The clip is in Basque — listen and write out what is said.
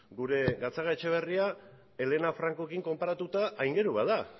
gure gatzagaetxebarria elena francorekin konparatuta